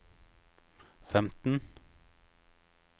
femten